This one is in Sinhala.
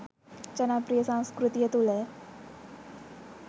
ජනප්‍රිය සංස්කෘතිය තුළ